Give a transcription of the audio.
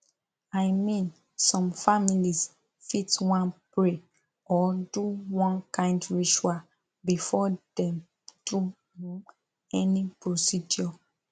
i mean some families fit wan pray or do one kind ritual before dem do um any procedure